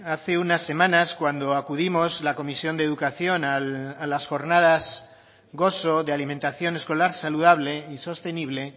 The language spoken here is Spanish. hace unas semanas cuando acudimos la comisión de educación a las jornadas gozo de alimentación escolar saludable y sostenible